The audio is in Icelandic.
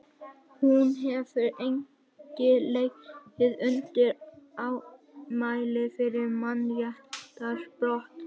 hún hefur einnig legið undir ámæli fyrir mannréttindabrot